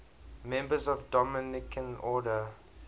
members of the dominican order